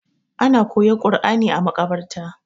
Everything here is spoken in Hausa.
ana koyar Qurani a makabarta